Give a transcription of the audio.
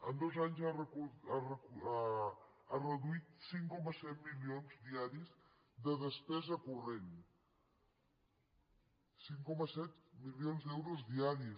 en dos anys ha reduït cinc coma set milions diaris de despesa corrent cinc coma set milions d’euros diaris